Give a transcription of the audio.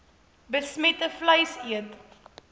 besmette vleis eet